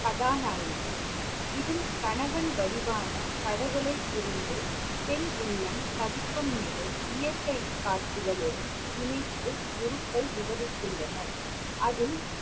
கதாநாயகி இதில் கணவன் வடிவான கடவுளை பிரிந்து பெண் உள்ளம் தவிக்கும் நிலை இயற்கை காட்சிகளுடன் இணைத்து குருக்கள் விவரித்துள்ளனர். அதில்